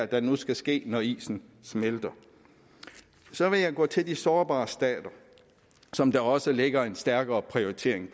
der nu skal ske når isen smelter så vil jeg gå til de sårbare stater som der også ligger en stærkere prioritering